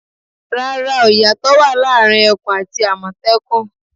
Rárá o, ìyàtọ̀ wà láàrin ẹkùn àti àmọ̀tẹ́kùn.